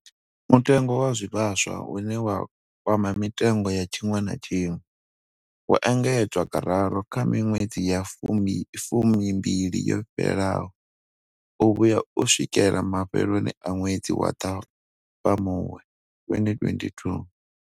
Mutengo wa zwivhaswa, une wa kwama mitengo ya tshiṅwe na tshiṅwe, wo engedzwa kararu kha miṅwedzi ya fumimbili yo fhelaho u vhuya u swikela mafheloni a ṅwedzi wa Ṱhafamuhwe 2022.